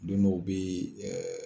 Den dɔw bɛ